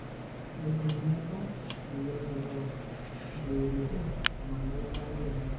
keidim niaku meidim airoro o atayiolito iltungana lomarei lenye.